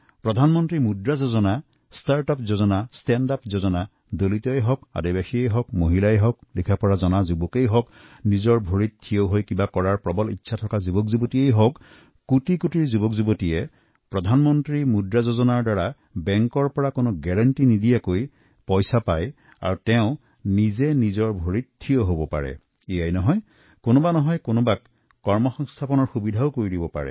প্ৰধানমন্ত্ৰী Mudra Yojana start up Yojana stand up যোজনাদলিত আদিবাসী মহিলা সদ্য স্নাতক ডিগ্ৰীধাৰী যুৱকযুৱতীসকলক লৈ থিয় হোৱাৰ পৰিকল্পনা গ্ৰহণ কৰি কোটি কোটি যুৱকযুৱতীক কোনো গেৰাণ্টি নোলোৱাকৈ প্ৰধানমন্ত্ৰী মুদ্ৰা যোজনাৰ ধন লাভ কৰিছে আৰু কেবল যে নিজেই স্বাৱলম্বী হৈছে তেনে নহয় বহুতে আন দুইএজনকো কৰ্মসংস্থাপনৰ ব্যৱস্থা কৰিলে